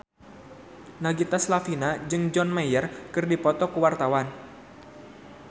Nagita Slavina jeung John Mayer keur dipoto ku wartawan